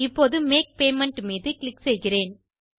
இப்போது make payment மீது click செய்கிறேன்